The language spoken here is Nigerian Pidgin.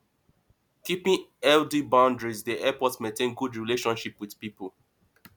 keeping healthy boundries dey help us maintain good relationship with pipo